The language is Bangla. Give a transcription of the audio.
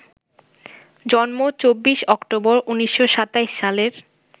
জন্ম ২৪ অক্টোবর, ১৯২৭ সালের